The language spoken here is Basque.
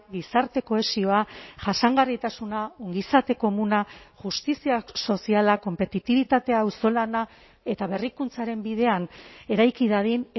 gizarte kohesioa jasangarritasuna ongizate komuna justizia soziala konpetitibitatea auzolana eta berrikuntzaren bidean eraiki dadin